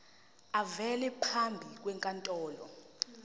avele phambi kwenkantolo